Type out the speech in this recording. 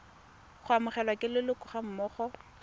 go amogelwa ke leloko gammogo